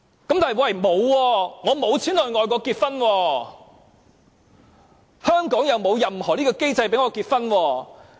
可是，有些人沒有錢到外國結婚，而香港又沒有任何機制讓他們結婚。